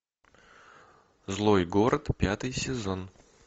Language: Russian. злой город пятый сезон